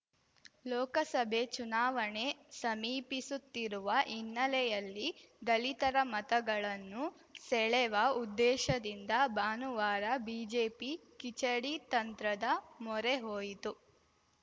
ಲೋಕಸಭೆ ಚುನಾವಣೆ ಸಮೀಪಿಸುತ್ತಿರುವ ಹಿನ್ನೆಲೆಯಲ್ಲಿ ದಲಿತರ ಮತಗಳನ್ನು ಸೆಳೆವ ಉದ್ದೇಶದಿಂದ ಭಾನುವಾರ ಬಿಜೆಪಿ ಕಿಚಡಿ ತಂತ್ರದ ಮೊರೆ ಹೋಯಿತು